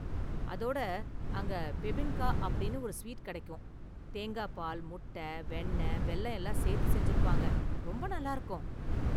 அதோட அங்க பெபின்கா அப்படின்னு ஒரு ஸ்வீட் கிடைக்கும், தேங்காய் பால், முட்ட, வெண்ணெய், வெல்லம் எல்லாம் சேர்த்து செஞ்சுருப்பாங்க, ரொம்ப நல்லா இருக்கும்.